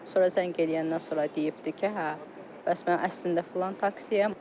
Sonra zəng eləyəndən sonra deyibdir ki, hə, bəs mən əslində filan taksiyəm.